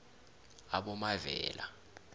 abomavela